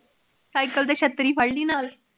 Cycle ਤੇ ਛਤਰੀ ਫੜਲੀ ਨਾਲ,